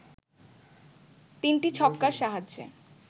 ৩টি ছক্কার সাহায্যে